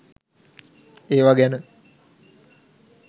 ඒවා ගැන